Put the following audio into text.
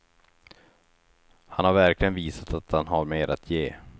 Han har verkligen visat att han har mer att ge.